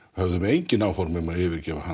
höfðum engin áform um að yfirgefa hann